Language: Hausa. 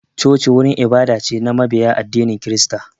Choci wurin ibada ce na mabiya addinin kirista